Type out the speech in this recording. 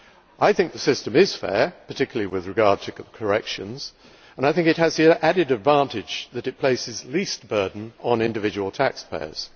I think the system is fair, particularly with regard to corrections, and I think it has the added advantage that it places least burden on individual taxpayers.